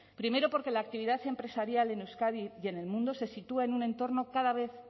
primero porque la actividad empresarial en euskadi y en el mundo se sitúa en un entorno cada vez